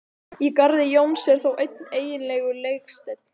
Í garði Jóns er þó einn eiginlegur legsteinn.